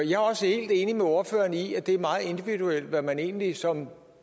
jeg er også helt enig med ordføreren i at det er meget individuelt hvad man egentlig som